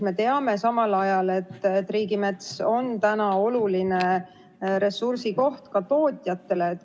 Me teame samal ajal, et riigimets on oluline ressursikoht ka tootjatele.